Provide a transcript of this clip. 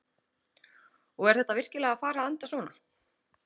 Og er þetta virkilega að fara að enda svona?